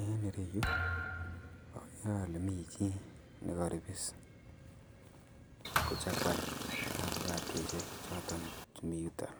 En ireyu agere ale mi chi nekaripis kochakwan afokatoisiek choton chu miyuton.